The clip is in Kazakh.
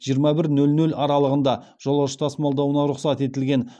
жиырма бір нөл нөл аралығында жолаушы тасымалдауына рұқсат етілген